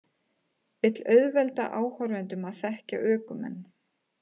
Vill auðvelda áhorfendum að þekkja ökumenn